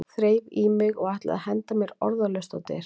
Þreif í mig og ætlaði að henda mér orðalaust á dyr.